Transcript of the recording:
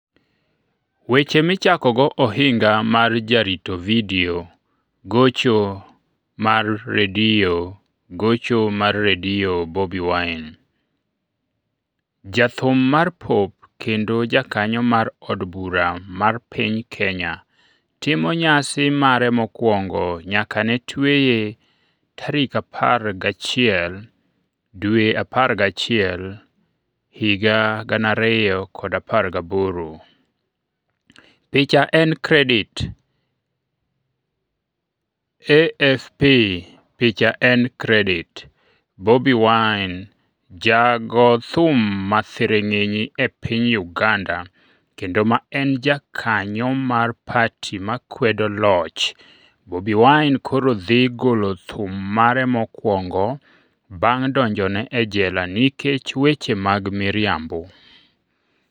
Weche Michakogo Ohinga mar Jarito Vidio Gocho mar redio Gocho mar redio Bobi Wine: Jathum mar pop kendo jakanyo mar od bura mar piny Kenya timo nyasi mare mokwongo nyaka ne tweye 11 Novemba 2018 Picha en Credit: AFP Picha en Credit: Bobi Wine Jago thum ma thiring'inyi e piny Uganda kendo ma en jakanyo mar pati ma kwedo loch Bobi Wine koro dhi golo thum mare mokwongo bang' donjone e jela nikech weche mag miriambo.